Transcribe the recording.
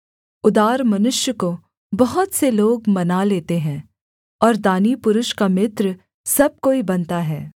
उदार मनुष्य को बहुत से लोग मना लेते हैं और दानी पुरुष का मित्र सब कोई बनता है